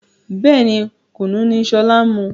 Bẹ́ẹ̀ni, Kùnú ni sọlá ń mu